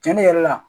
Cɛnni yɛrɛ la